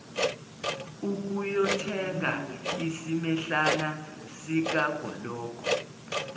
ukuyothenga isimehlana sikagologo